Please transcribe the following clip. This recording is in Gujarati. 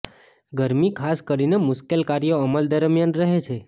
ગરમી ખાસ કરીને મુશ્કેલ કાર્યો અમલ દરમિયાન રહે છે